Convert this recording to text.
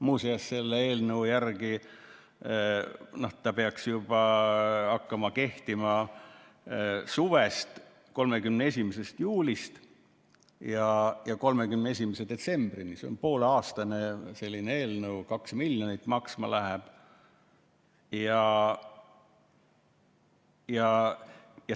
Muuseas, selle eelnõu järgi peaks seadus hakkama kehtima juba suvel, 31. juulil, ja kehtima 31. detsembrini, see on pooleaastane eelnõu, 2 miljonit läheb maksma.